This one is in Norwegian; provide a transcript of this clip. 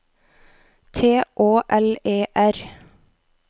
T Å L E R